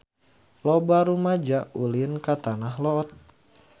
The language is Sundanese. Loba rumaja ulin ka Tanah Lot